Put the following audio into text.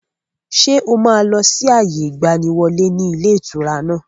Ṣé o máa lọ sí àyè ìgbàníwọlé ni ilé ìtura náà?